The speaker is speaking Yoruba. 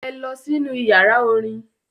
Ẹ lọ sínú ìyàrá-orin!